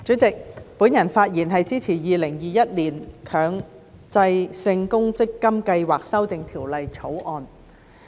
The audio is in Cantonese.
主席，我發言支持《2021年強制性公積金計劃條例草案》。